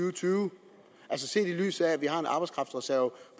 og tyve også set i lyset af at vi har en arbejdskraftreserve